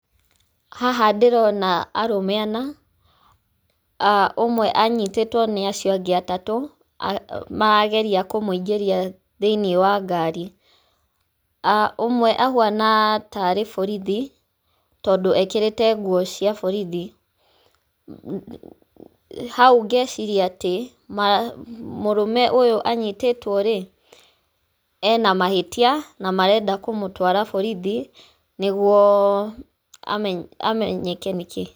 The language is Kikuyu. Haha ndĩrona arũme ana, ah ũmwe anyitĩtwo nĩ acio angĩ atatũ, marageria kũmũingĩria thĩinĩ wa ngari. ah Ũmwe ahuana tarĩ borithi, tondũ ekĩrĩte nguo cia borithi. Haũ ngeciria atĩ, ma mũrũme ũyũ anyitĩtwo rĩ, ena mahĩtia, na marenda kũmũtwara borithi nĩguo ame amenyeke nĩkĩi.